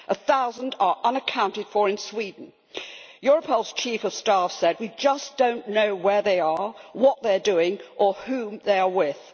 One thousand are unaccounted for in Sweden. Europol's chief of staff has said, we just do not know where they are, what they are doing or who they are with'.